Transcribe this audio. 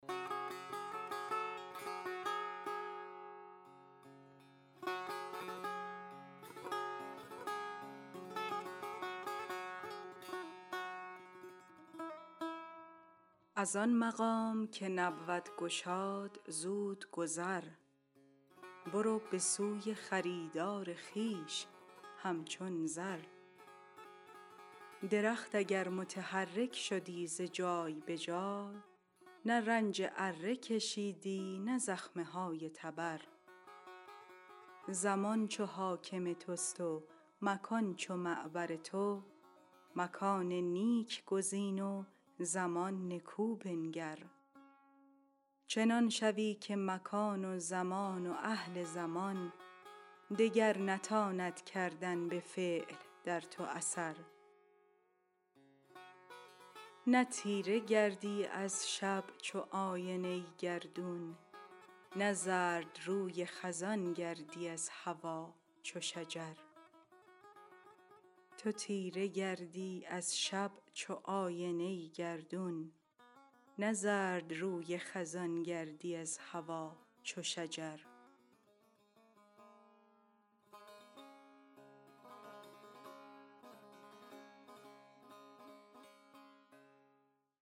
از آن مقام که نبود گشاد زود گذر برو به سوی خریدار خویش همچون زر درخت اگر متحرک شدی ز جای به جا نه رنج اره کشیدی نه زخمه های تبر زمان چو حاکم تست و مکان چو معبر تو مکان نیک گزین و زمان نکو بنگر چنان شوی که مکان و زمان و اهل زمان دگر نتاند کردن به فعل در تو اثر تو تیره گردی از شب چو آینه گردون نه زردروی خزان گردی از هوا چو شجر